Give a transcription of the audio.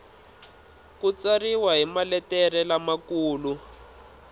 ku tsariwa hi maletere lamakulu